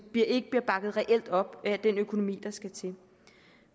ikke bliver bakket reelt op af den økonomi der skal til